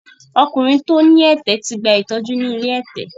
Ọkùnrin tí ó ní ẹ̀tẹ̀ ti gba ìtọ́jú ni ilé ẹ̀tẹ̀.